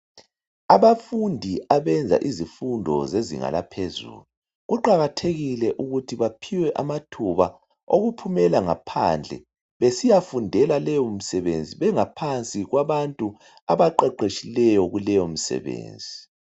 Abafundi abenza izifundo zezinga laphezulu kuqakathekile ukuthi baphiwe amathuba okuphumela ngaphandle besiyafundela leyomsebenzi bengaphansi kwabantu abaqeqetshileyo.